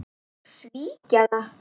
Svíkja það.